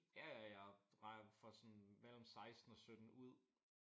Ja ja jeg regner får sådan mellem 16 og 17 ud